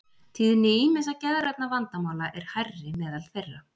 Tíðni ýmissa geðrænna vandamála er hærri meðal þeirra.